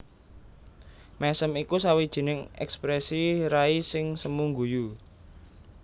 Mèsem iku sawijining èksprèsi rai sing semu guyu